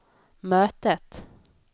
mötet